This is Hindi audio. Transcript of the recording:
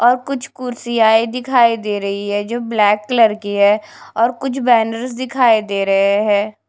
और कुछ कुर्सी दिखाई दे रही है जो ब्लैक कलर की है और कुछ बैनर दिखाई दे रहे हैं।